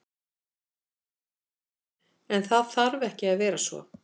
En, það þarf ekki að vera svo.